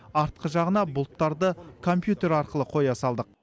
артқы жағына бұлттарды компьютер арқылы қоя салдық